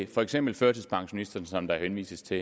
for eksempel førtidspensionisterne som der jo henvises til